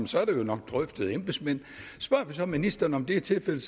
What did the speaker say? så er det nok drøftet af embedsmænd spørger vi så ministeren om det er tilfældet